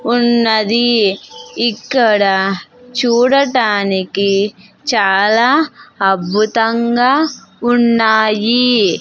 ఉన్నది ఇక్కడ చూడటానికి చాలా అద్భుతంగా ఉన్నాయి.